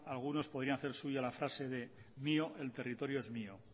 algunos podrían hacer suya la frase de mío el territorio es mío